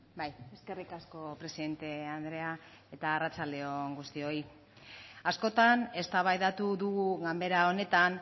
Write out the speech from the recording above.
bai eskerrik asko presidente andrea eta arratsalde on guztioi askotan eztabaidatu dugu ganbera honetan